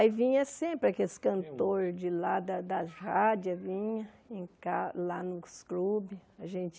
Aí vinha sempre aqueles cantores de lá da da rádio, vinha em ca lá nos clubes, a gente...